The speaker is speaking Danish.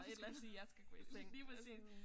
Hvorfor skal du sige jeg skal gå i seng og sådan